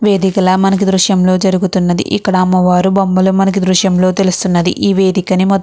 వేదికల మనకి ఈ దృశ్యంలో జరుగుతున్నది. ఇక్కడ అమ్మవారు బొమ్మలు మనకు దృశ్యంలో తెలుస్తుంది. ఈ వేదికానీ మొత్తం --